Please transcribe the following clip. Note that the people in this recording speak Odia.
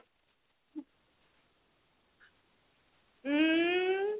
ଉଁ